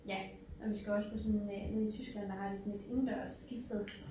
Ja og vi skal også på sådan øh nede i Tyskland der har de sådan et indendørs skisted